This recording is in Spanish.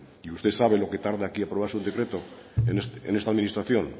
y usted sabe lo que tarda aquí aprobarse un decreto en esta administración